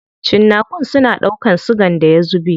Cinnakun suna ɗaukan sigan da ya zube.